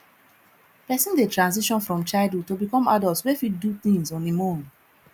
person dey transition from childhood to become adult wey fit do things on im own